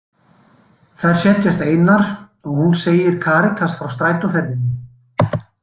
Þær setjast einar og hún segir Karítas frá strætóferðinni.